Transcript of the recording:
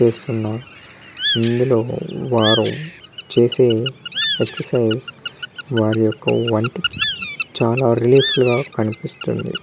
చేస్తున్నారు ఇందులో వారు చేసే ఎక్సరసైసెస్ వారి ఒక వంటికి చాల కనిపిస్తుంది